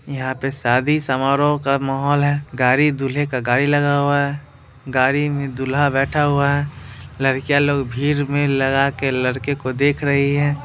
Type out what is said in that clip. यहाँ पर शादी-समारोह का माहौल है गाड़ी दूल्हे का गाड़ी लगा हुआ है गाड़ी में दूल्हा बैठा हुआ है लड़कियां लोग भीड़ में लगा के लड़के को देख रही है।